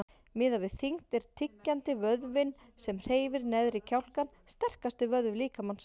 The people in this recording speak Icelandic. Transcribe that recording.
Miðað við þyngd er tyggjandi, vöðvinn sem hreyfir neðri kjálkann, sterkasti vöðvi líkamans.